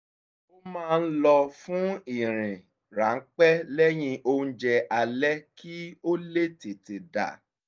a máa ń lọ fún ìrìn ránpẹ́ lẹ́yìn oúnjẹ alẹ́ kí ó lè tètè dà